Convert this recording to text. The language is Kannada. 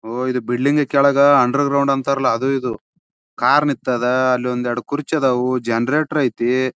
ಒಹ್ ಇದು ಬಿಲ್ಡಿಂಗ್ ಕೆಳಗ ಅಂಡರ್ಗ್ರೌಂಡ್ ಅಂತರಲ್ಲ ಅದು. ಇದು ಕಾರ್ ನಿಂತದ ಅಲೊಂದು ಎರಡು ಕುರ್ಚಿ ಇದವು ಜನರೇಟರ್ ಐತೆ.